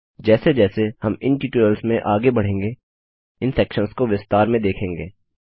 जैसे जैसे हम इन ट्यूटोरियल्स में आगे बढ़ेंगे इन सेक्शंस को विस्तार में देखेंगे